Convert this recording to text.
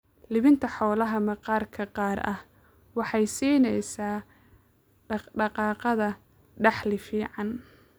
Iibinta xoolaha maqaar gaar ah waxay siinaysaa dhaq-dhaqaaqa dakhli fiican.